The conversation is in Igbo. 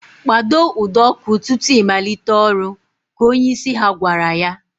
Kpado ụdọ ọkụ tutu I malite ọrụ! Ka onyeisi ha gwara ya